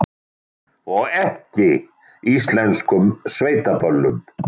Og ekki íslenskum sveitaböllum.